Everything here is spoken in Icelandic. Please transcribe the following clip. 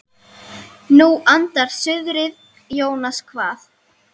Nú andar suðrið Jónas kvað.